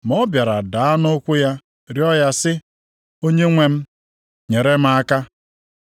Ma ọ bịara daa nʼụkwụ ya rịọọ ya sị, “Onyenwe m, nyere m aka!”